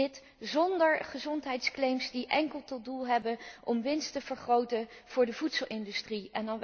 Dit zonder gezondheidsclaims die enkel tot doel hebben om winst te vergroten voor de voedselindustrie.